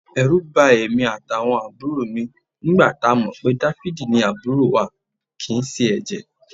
Ẹ̀rù bà èmi àtàwọn àbúrò mi nígbà tá a mọ̀ pé Dáfídì ni àbúrò wa kì í ṣe ẹ̀jẹ̀